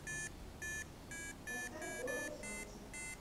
поставь город солнца